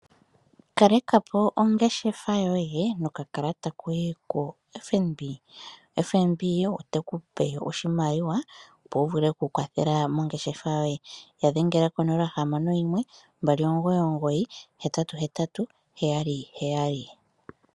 Kalekapo ongeshefa yoye noka kalata koye ko FNB. FNB oteku pe oshimaliwa opo wu vule oku kwathela mongeshefa yoye, ya dhengela ko 0612998877.